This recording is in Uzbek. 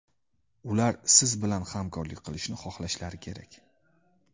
Ular siz bilan hamkorlik qilishni xohlashlari kerak.